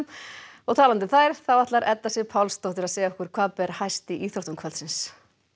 og talandi um þær nú ætlar Edda Sif Pálsdóttir að segja okkur hvað ber hæst í íþróttum kvöldsins